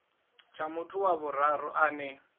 tsha muthu wa vhuraru ane